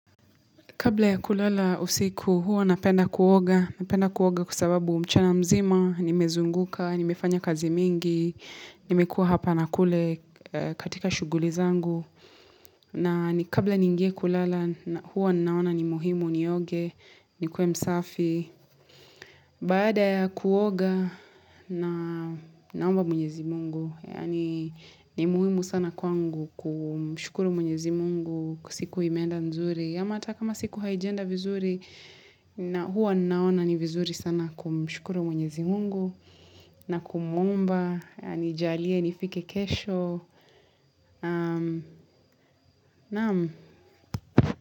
Kabla ya kulala usiku hua napenda kuoga, napenda kuoga kwa sababu mchana mzima, nimezunguka, nimefanya kazi mingi, nimekua hapa nakule katika shughuli zangu. Na ni kabla ningie kulala hua naona ni muhimu nioge, nikue msafi. Baada ya kuoga na naomba mwenyezi Mungu, yaani ni muhimu sana kwangu kumshukuru mwenyezi Mungu kua siku imeenda nzuri. Ama ata kama siku haijaenda vizuri na huwa naona ni vizuri sana kumshukuru mwenyezi mungu na kumuomba anijalie nifike kesho Naam.